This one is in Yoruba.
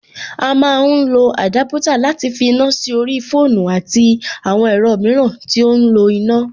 A má ń lọ àdúpútà láti fa iná sí orí fóònù àti àwọn ẹ̀rọ mìíràn tí ó ń lo iná.